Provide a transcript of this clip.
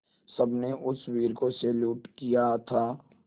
सबने उस वीर को सैल्यूट किया था